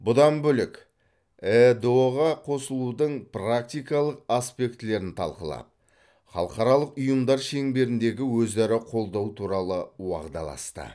бұдан бөлек эыдұ ға қосылудың практикалық аспектілерін талқылап халықаралық ұйымдар шеңберіндегі өзара қолдау туралы уағдаласты